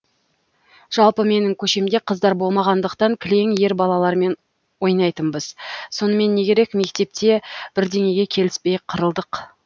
жалпы менің көшемде қыздар болмағандықтан кілең ер балалармен ойнайтынбыз сонымен не керек мектепте бірдеңеге келіспей қырылдық